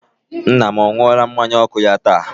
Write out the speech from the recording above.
Nna m ọ ṅụọla mmanya ọkụ ya taa?